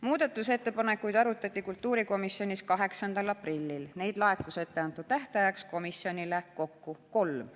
Muudatusettepanekuid arutati kultuurikomisjonis 8. aprillil, neid laekus ette antud tähtajaks komisjonile kokku kolm.